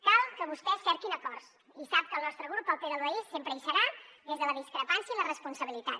cal que vostès cerquin acords i sap que el nostre grup pel bé del país sempre hi serà des de la discrepància i la responsabilitat